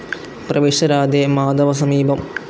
പ്രവിശ രാധേ, മാധവ സമീപം